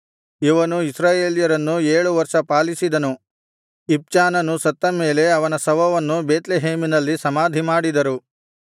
ಇವನು ಇಸ್ರಾಯೇಲ್ಯರನ್ನು ಏಳು ವರ್ಷ ಪಾಲಿಸಿದನು ಇಬ್ಚಾನನು ಸತ್ತ ಮೇಲೆ ಅವನ ಶವವನ್ನು ಬೇತ್ಲೆಹೇಮಿನಲ್ಲಿ ಸಮಾಧಿಮಾಡಿದರು